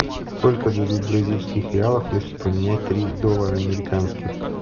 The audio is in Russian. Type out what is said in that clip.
сколько дадут бразильских реалов если поменять три доллара американских